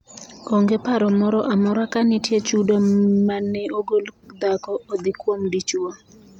Onge paro moro amora ka nitie chudo maneogol dhako odhi kuom dichuwo